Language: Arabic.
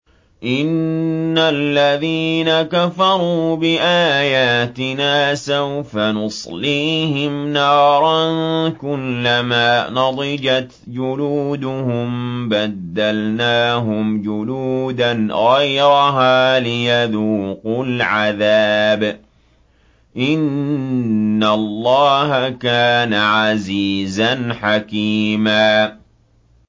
إِنَّ الَّذِينَ كَفَرُوا بِآيَاتِنَا سَوْفَ نُصْلِيهِمْ نَارًا كُلَّمَا نَضِجَتْ جُلُودُهُم بَدَّلْنَاهُمْ جُلُودًا غَيْرَهَا لِيَذُوقُوا الْعَذَابَ ۗ إِنَّ اللَّهَ كَانَ عَزِيزًا حَكِيمًا